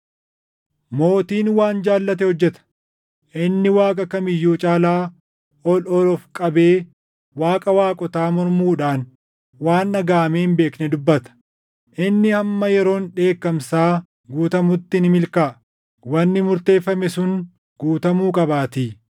“Mootiin waan jaallate hojjeta. Inni Waaqa kam iyyuu caalaa ol ol of qabee Waaqa waaqotaa mormuudhaan waan dhagaʼamee hin beekne dubbata. Inni hamma yeroon dheekkamsaa guutamutti ni milkaaʼa; wanni murteeffame sun guutamuu qabaatii.